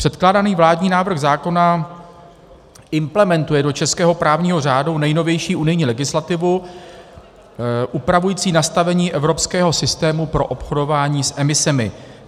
Předkládaný vládní návrh zákona implementuje do českého právního řádu nejnovější unijní legislativu upravující nastavení evropského systému pro obchodování s emisemi.